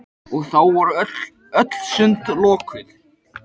Og þá voru öll sund lokuð!